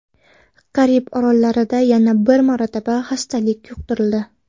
Karib orollarida yana bir marotaba xastalik yuqtirildi.